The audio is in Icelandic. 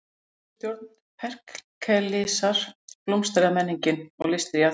Undir stjórn Períklesar blómstraði menningin og listir í Aþenu.